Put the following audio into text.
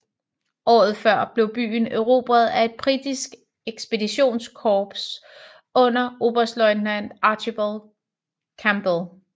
Året før blev byen erobret af et britisk ekspeditionskorps under oberstløjtnant Archibald Campbell